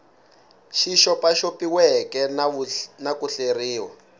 xi xopaxopiweke na ku hleriwa